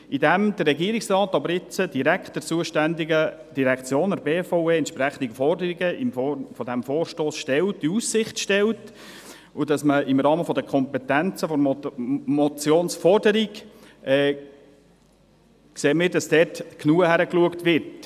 Indem der Regierungsrat nun direkt der zuständigen Direktion, der BVE, die entsprechenden Forderungen in Aussicht stellt und man dies im Rahmen der Kompetenzen der Motionsforderung sehen wird, genügt, damit dort genügend hingeschaut wird.